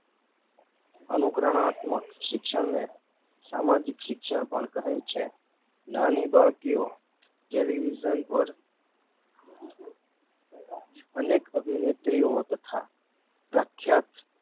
અનુકરણાત્મક શિક્ષણને સામાજિક શિક્ષણ પણ કહે છે નાની બાળકીઓ ટેલિવિઝન પર અનેક અભીનેત્રીઓ તથા પ્રખ્યાત